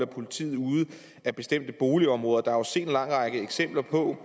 politiet ude af bestemte boligområder der er set en lang række eksempler på